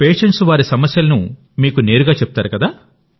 patients వారి సమస్యలను మీకు నేరుగా చెప్తారు కదా